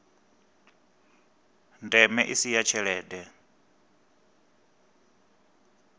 ndeme i si ya tshelede